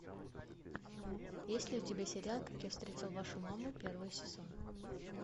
есть ли у тебя сериал как я встретил вашу маму первый сезон